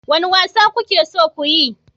Wane wasa kuke so ku yi?